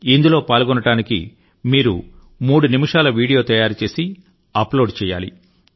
ఇందులో పాల్గొనడానికి మీరు మూడు నిమిషాల వీడియో తయారు చేసి అప్లోడ్ చేయాలి